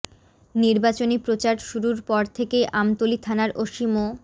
নির্বাচনী প্রচার শুরুর পর থেকেই আমতলী থানার ওসি মো